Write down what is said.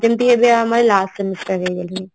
ଯେମତି ଏବେ ଆମ last semester ହେଇଗଲାଣି